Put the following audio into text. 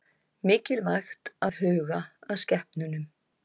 Mikilvægt að huga að skepnunum